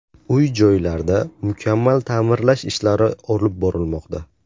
Uy-joylarda mukammal ta’mirlash ishlari olib borilmoqda.